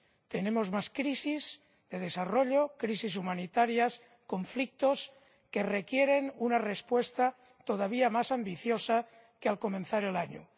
tenemos más crisis, de desarrollo, crisis humanitarias, conflictos que requieren una respuesta todavía más ambiciosa que al comenzar el año.